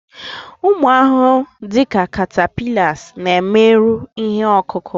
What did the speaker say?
ụmụ ahụhụ dị ka catapillars na-emerụ ihe ọkụkụ